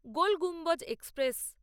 Gol Gumbaz express